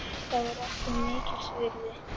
Það var okkur mikils virði.